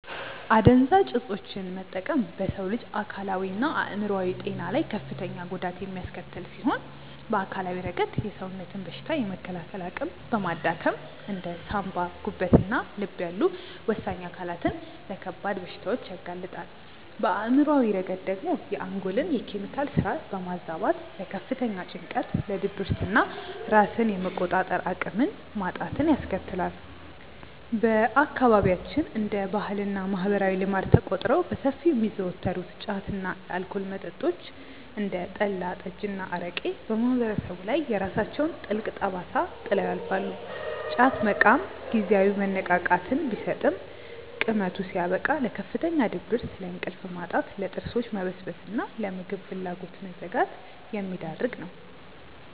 አደንዛዥ እፆችን መጠቀም በሰው ልጅ አካላዊና አእምሯዊ ጤና ላይ ከፍተኛ ጉዳት የሚያስከትል ሲሆን፣ በአካላዊ ረገድ የሰውነትን በሽታ የመከላከል አቅም በማዳከም እንደ ሳንባ፣ ጉበትና ልብ ያሉ ወሳኝ አካላትን ለከባድ በሽታዎች ያጋልጣል፤ በአእምሯዊ ረገድ ደግሞ የአንጎልን የኬሚካል ስራ በማዛባት ለከፍተኛ ጭንቀት፣ ለድብርትና ራስን የመቆጣጠር አቅምን ማጣትን ያስከትላል። በአካባቢያችን እንደ ባህልና ማህበራዊ ልማድ ተቆጥረው በሰፊው የሚዘወተሩት ጫት እና የአልኮል መጠጦች (እንደ ጠላ፣ ጠጅና አረቄ) በማህበረሰቡ ላይ የራሳቸውን ጥልቅ ጠባሳ ጥለው ያልፋሉ፤ ጫት መቃም ጊዜያዊ መነቃቃትን ቢሰጥም ቅመቱ ሲያበቃ ለከፍተኛ ድብርት፣ ለእንቅልፍ ማጣት፣ ለጥርሶች መበስበስና ለምግብ ፍላጎት መዘጋት የሚዳርግ ነው።